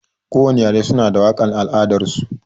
Kowani yare suna da waƙar al'adar su.